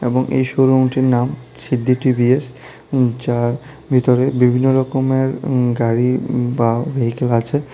এবং এই শোরুমটির নাম সিদ্ধি টি_ভি_এস যার ভিতরে বিভিন্ন রকমের উম গাড়ি উম বা ভেহিকেল আছে।